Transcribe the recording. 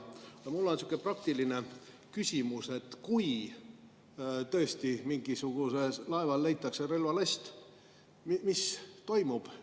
Mul on sihuke praktiline küsimus, et kui tõesti mingisugusel laeval leitakse relvalast, mis siis toimub.